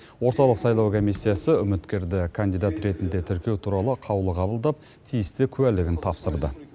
орталық саулау комиссиясы үміткерді кандидат ретінде тіркеу туралы қаулы қабылдап тиісті куәлігін тапсырды